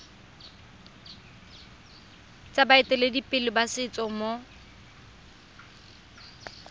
tsa baeteledipele ba setso mo